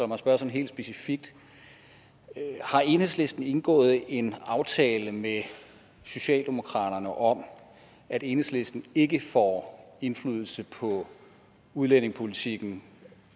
mig spørge helt specifikt har enhedslisten indgået en aftale med socialdemokratiet om at enhedslisten ikke får indflydelse på udlændingepolitikken